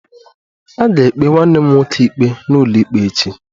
A ga-ekpe nwanne m nwoke ikpe n'ụlọikpe echi